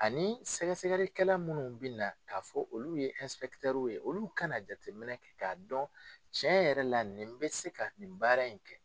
Ani sɛgɛsɛgɛlikɛla munnu bɛ na k'a fɔ olu ye ye olu kana jateminɛ kɛ k'a dɔn tiɲɛ yɛrɛ la nin bɛ se ka nin baara in kɛ.